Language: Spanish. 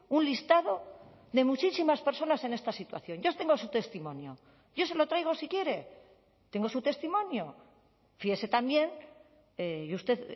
un listado de muchísimas personas en esta situación yo tengo su testimonio yo se lo traigo si quiere tengo su testimonio fíese también y usted